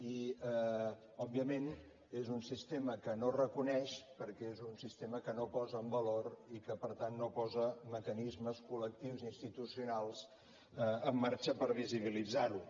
i òbviament és un sistema que no ho reconeix perquè és un sistema que no ho posa en valor i que per tant no posa mecanismes col·lectius ni institucionals en marxa per visibilitzar ho